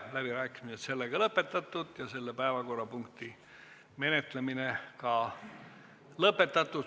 Läbirääkimised on lõppenud ja selle päevakorrapunkti menetlemine samuti.